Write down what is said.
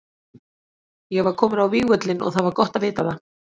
Ég var kominn á vígvöllinn og það var gott að vita það.